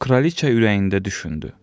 Kraliçə ürəyində düşündü: